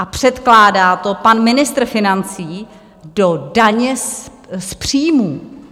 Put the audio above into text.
A předkládá to pan ministr financí do daně z příjmů.